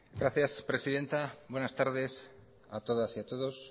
gracias presidenta buenas tardes a todas y a todos